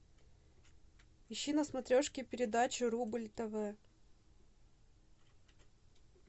ищи на смотрешке передачу рубль тв